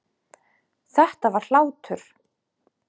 Þetta var hlátur.